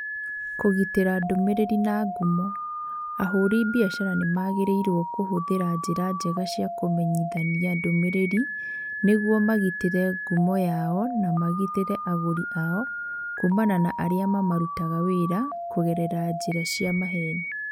Kũgitĩra ndũmĩrĩri na ngumo: Ahũri biacara nĩ magĩrĩirũo kũhũthĩra njĩra njega cia kũmenyithania ndũmĩrĩri nĩguo magitĩre ngumo yao na magitĩre agũri ao kuumana na arĩa mamarutaga wĩra kũgerera njĩra cia maheni.